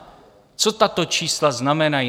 Co tato čísla znamenají?